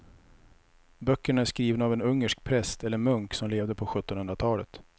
Böckerna är skrivna av en ungersk präst eller munk som levde på sjuttonhundratalet.